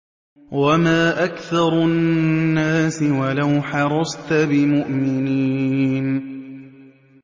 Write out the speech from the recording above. وَمَا أَكْثَرُ النَّاسِ وَلَوْ حَرَصْتَ بِمُؤْمِنِينَ